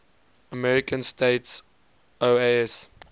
american states oas